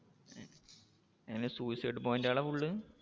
എങ്ങനെ suicide point ആ full